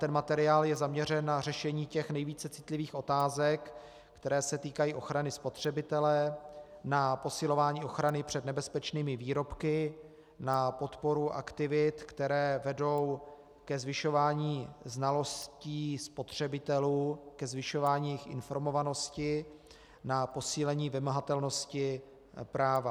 Ten materiál je zaměřen na řešení těch nejvíce citlivých otázek, které se týkají ochrany spotřebitele, na posilování ochrany před nebezpečnými výrobky, na podporu aktivit, které vedou ke zvyšování znalostí spotřebitelů, ke zvyšování jejich informovanosti, na posílení vymahatelnosti práva.